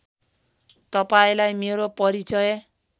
तपाईँलाई मेरो परिचय